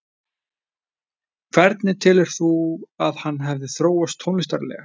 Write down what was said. Hvernig telur þú að hann hefði þróast tónlistarlega?